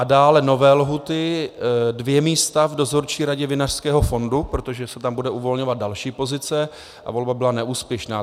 A dále nové lhůty - dvě místa v Dozorčí radě Vinařského fondu, protože se tam bude uvolňovat další pozice a volba byla neúspěšná.